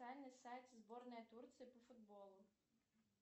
официальный сайт сборной турции по футболу